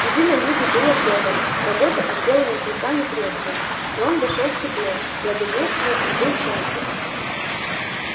еды на юге было вдоволь работы от белого клыка не требовали и он вошёл в тепло благоденствовал и был счастлив